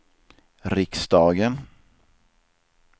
riksdagen